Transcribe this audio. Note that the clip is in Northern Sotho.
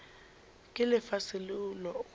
ke lefase leo go lona